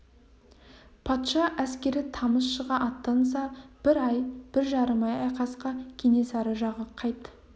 патша әскері тамыз шыға аттанса бір ай-бір жарым ай айқасқа кенесары жағы қайт-